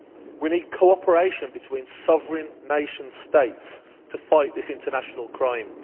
We need cooperation between sovereign nation states to fight this international crime.